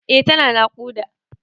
Eh tana naƙuda.